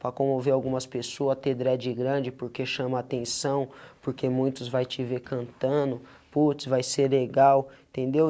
para comover algumas pessoas ter dread grande, porque chama atenção, porque muitos vai te ver cantando, puts, vai ser legal, entendeu?